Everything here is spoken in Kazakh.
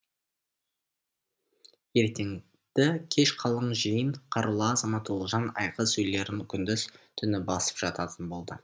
ертеңді кеш қалың жиын қарулы азамат ұлжан айғыз үйлерін күндіз түні басып жататын болды